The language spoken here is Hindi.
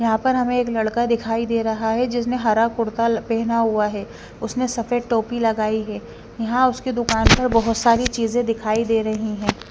यहां पर हमे एक लड़का दिखाई दे रहा है जिसने हरा कुर्ता पहना हुआ है उसने सफेद टोपी लगाई है यहां उसके दुकान में बहोत सारी चीजे दिखाई दे रही हैं।